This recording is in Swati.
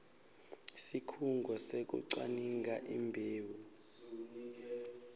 sikhungo sekucwaninga imbewu